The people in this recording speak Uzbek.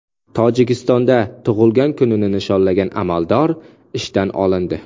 Tojikistonda tug‘ilgan kunini nishonlagan amaldor ishdan olindi.